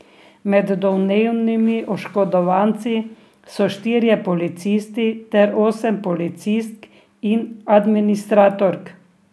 Med domnevnimi oškodovanci so štirje policisti ter osem policistk in administratork.